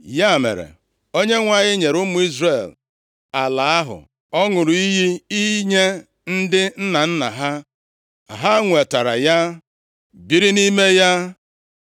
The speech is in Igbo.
Ya mere, Onyenwe anyị nyere ụmụ Izrel ala ahụ ọ ṅụrụ iyi inye ndị nna nna ha. Ha nwetara ya, biri nʼime ya.